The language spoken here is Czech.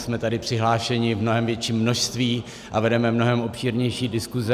Jsme tady přihlášeni v mnohem větším množství a vedeme mnohem obšírnější diskuze.